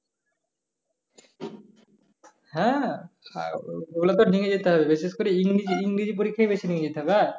হ্যাঁ ঐ লা নিয়ে যেতে হবে বিশেষ করে ইংরেজী ইংরেজী পরীক্ষায় নিয়ে যেতে হবে দাদা